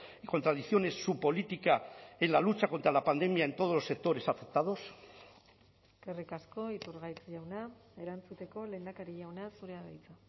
y contradicciones su política en la lucha contra la pandemia en todos los sectores afectados eskerrik asko iturgaiz jauna erantzuteko lehendakari jauna zurea da hitza